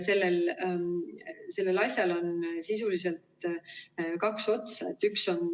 Sellel asjal on sisuliselt kaks otsa.